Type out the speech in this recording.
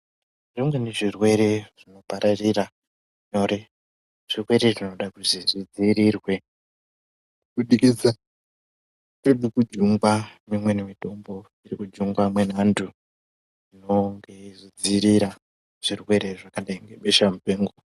Zvimweni zvirwere zvinopararira nyore ,zvirwere zvinoda kudziirirwe kubudikidza ngekukujungwa kweimweni mitombo irikujungwa muvantu inonge iyidzirira zvirwere zvakadai kunge hosha mupengo.